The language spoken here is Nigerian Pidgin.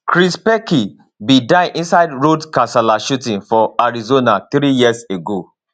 chris pelkey bin die inside road kasala shooting for arizona three years ago